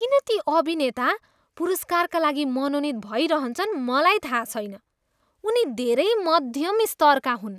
किन ती अभिनेता पुरस्कारका लागि मनोनित भइरहन्छन् मलाई थाहा छैन। उनी धेरै मध्यम स्तरका हुन्।